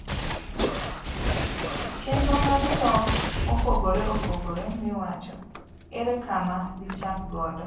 Gichenro mag dhok mopogre opogre miwacho, ere kama dichak godo?